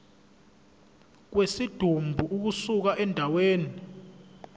kwesidumbu ukusuka endaweni